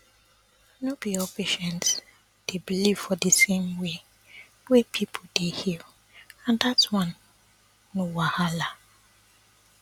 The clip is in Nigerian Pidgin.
no be all patients dey believe for di same way wey pipo dey heal and dat one no wahala